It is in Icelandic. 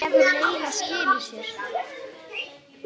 Hefur leiga skilað sér?